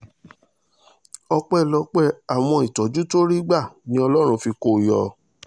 ọpẹ́lọpẹ́ àwọn ìtọ́jú tó rí gbà ni ọlọ́run fi kó o yọ